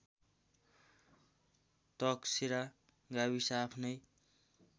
तकसेरा गाविस आफ्नै